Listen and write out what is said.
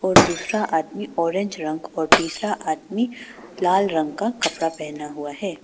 और दूसरा आदमी ऑरेंज रंग और तीसरा आदमी लाल रंग का कपड़ा पहना हुआ है।